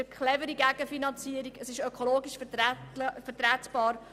Es ist eine clevere Gegenfinanzierung, und sie ist ökologisch vertretbar.